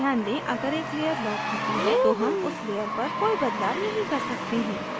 ध्यान दें अगर एक layer locked होती है तो हम उस layer पर कोई बदलाव नहीं कर सकते हैं